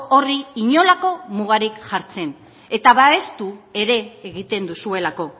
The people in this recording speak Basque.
horri inolako mugarik jartzen eta babestu ere egiten duzuelako